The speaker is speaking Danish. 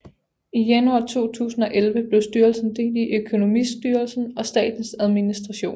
I januar 2011 blev styrelsen delt i Økonomistyrelsen og Statens Administration